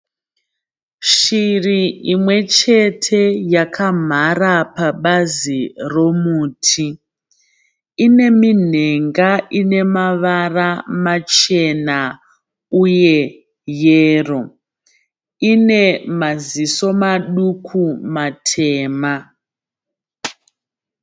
Shiri imwe chete yakamhara pabazi romuti. Ine minhenga ine mavara machena uye yero. Ine maziso maduku matema.